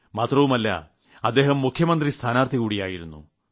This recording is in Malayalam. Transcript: മാത്രമല്ല അദ്ദേഹം മുഖ്യമന്ത്രി സ്ഥാനാർത്ഥി കൂടിയായിരുന്നു